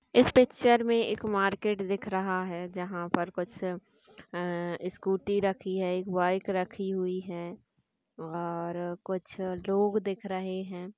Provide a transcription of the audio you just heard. इस picture मे एक market दिख रहा है जहाँ पर कुछ अह स्कूटी रखी है एक बाइक रखी हुई है और कुछ लोग दिख रहे है।